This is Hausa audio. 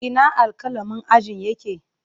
Ina alƙalamin ajin yake?